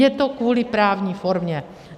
Je to kvůli právní formě.